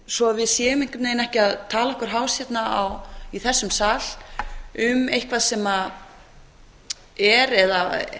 svo að við séum einhvern veginn ekki að tala okkur hás hérna í þessum sal um eitthvað sem er eða